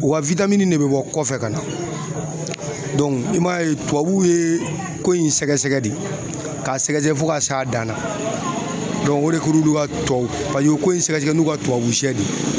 U ka witamini de be bɔ kɔfɛ ka na dɔnku i m'a ye tubabuw ye ko in sɛgɛsɛgɛ de k'a sɛgɛsɛgɛ fɔ ka s'a dan na dɔnku o de kor'olu ka tubabu paseke u ye ko in sɛgɛsɛgɛ n'u ka tubabusɛ de ye